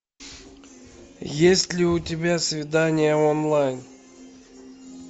есть ли у тебя свидание онлайн